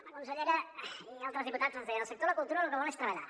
la consellera i altres diputats ens deien el sector la cultura lo que vol és treballar